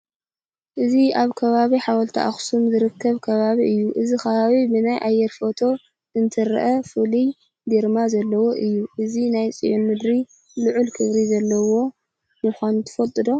እዚ ኣብ ከባቢ ሓወልቲ ኣኽሱም ዝርከብ ከባቢ እዩ፡፡ እዚ ከባቢ ብናይ ኣየር ፎቶ እንትርአ ፍሉይ ግርማ ዘለዎ እዩ፡፡ እዚ ናይ ፅዮን ምድሪ ልዑል ክብሪ ዘለዎ ምዃኑ ትፈልጡ ዶ?